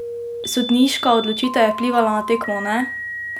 Sodniška odločitev je vplivala na tekmo, ne?